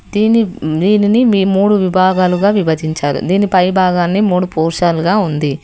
దీని దీనిని మీ మూడు విభాగాలుగా విభజించారు దీనిపై భాగాన్ని మూడు పోశాలుగా ఉంది.